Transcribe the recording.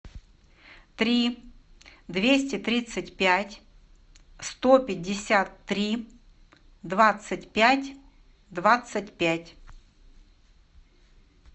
три двести тридцать пять сто пятьдесят три двадцать пять двадцать пять